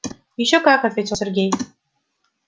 ещё как ответил сергей